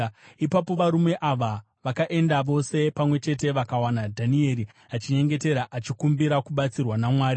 Ipapo varume ava vakaenda vose pamwe chete vakawana Dhanieri achinyengetera, achikumbira kubatsirwa naMwari.